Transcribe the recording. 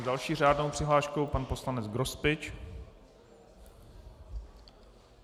S další řádnou přihláškou pan poslanec Grospič.